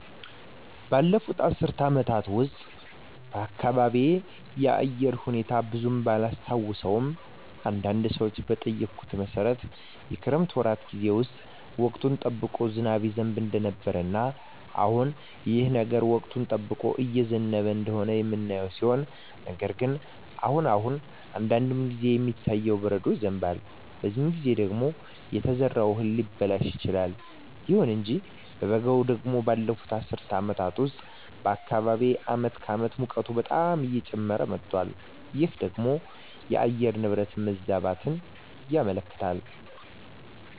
ባለፉት አስር አመታት ውስጥ የአካባቢየ የአየር ሁኔታ ብዙም ባላስታውሰውም አንዳንድ ሰዎችን በጠየኩት መሠረት የክረምት ወራት ጌዜ ውስጥ ወቅቱን ጠብቆ ዝናብ ይዘንብ እንደነበረ እና አሁንም ይህ ነገር ወቅቱን ጠብቆ እየዘነበ እንደሆነ የምናየው ሲሆን ነገር ግን አሁን አሁን አንዳንድ ጊዜ የሚታየው በረዶ ይዘንባል በዚህ ጊዜ ደግሞ የተዘራው እህል ሊበላሽ ይችላል። ይሁን እንጂ በበጋው ደግሞ ባለፋት አስር አመታት ውስጥ በአካባቢየ አመት ከአመት ሙቀቱ በጣም እየጨመረ መጧል ይህ ደግሞ የአየር ንብረት መዛባትን ያመለክታል